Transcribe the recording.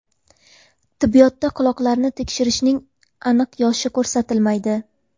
Tibbiyotda quloqlarni teshdirishning aniq yoshi ko‘rsatilmaydi.